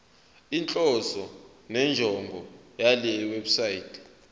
inhloso nenjongo yalewebsite